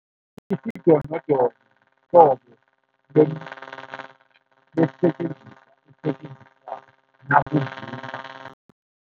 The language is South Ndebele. Isidonodono mhlobo esisetjenziswa, esisetjenziswako nakuvunywako